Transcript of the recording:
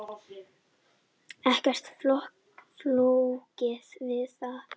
Ekkert flókið við það.